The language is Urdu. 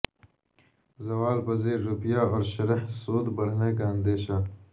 زوال پذیر روپیہ اور شرح سود بڑھنے کا اندیشہ